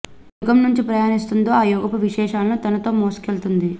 ఏ యుగం నుంచి ప్రయాణిస్తుందో ఆ యుగపు విశేషాలను తనతో మోసుకెళ్తుంది